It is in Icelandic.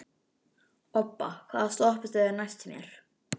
Obba, hvaða stoppistöð er næst mér?